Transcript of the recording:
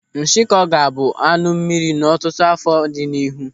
Nshikọ ga-abụ anụ mmiri n'ọtụtụ áfọ̀ dị n'ihu.